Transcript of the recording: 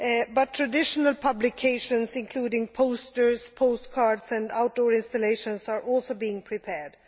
But traditional publications including posters, postcards and outdoor installations are also being prepared.